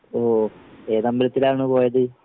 ഓഹ് ഏതമ്പലത്തിലാണ് പോയത്?